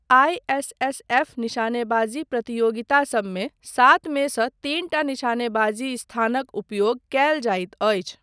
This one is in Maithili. आईएसएसएफ निशानेबाजी प्रतियोगिता सबमे, सात मे सँ तीन टा निशानेबाजी स्थानक उपयोग कयल जाइत अछि।